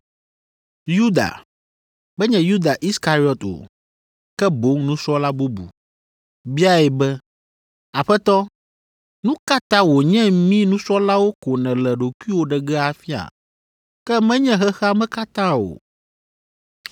Yuda (menye Yuda Iskariɔt o, ke boŋ nusrɔ̃la bubu), biae be, “Aƒetɔ, nu ka ta wònye mí nusrɔ̃lawo ko nèle ɖokuiwo ɖe ge afia, ke menye xexea me katã o?”